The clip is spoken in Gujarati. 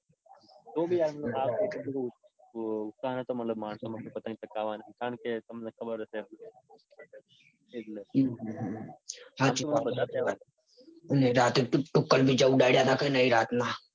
તો બી આમ આ વખતે ઉત્તરાયણમાં મતલબ માણસો માં ઉત્સાહ નતો કે પતંગ ચગાવાના કારણકે તમને ખબર હશે. એટલે હમ હાચી વાત છે રાત્રે પેલા તુક્કલ નઈ રાતના.